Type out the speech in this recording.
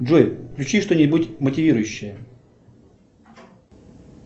джой включи что нибудь мотивирующее